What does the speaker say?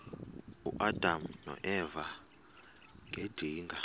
uadam noeva ngedinga